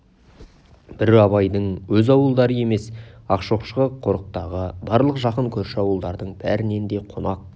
бір абайдың өз ауылдары емес ақшоқы қорықтағы барлық жақын көрші ауылдардың бәрінен де қонақ